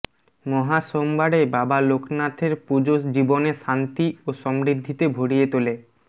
মহা সোমবারে বাবা লোকনাথের পুজো জীবনে শান্তি ও সমৃদ্ধিতে ভরিয়ে তোলে